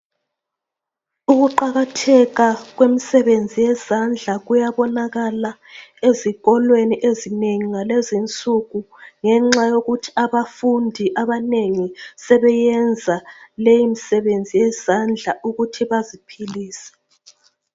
Ukuqakatheka kwemsebenzi yezandla kuyabonakala ezikolweni ezinengi ngalezi insuku ngenxa yokuthi abafundi abanengi sebeyenza leyimsebenzi yezandla ukuthi baziphilise.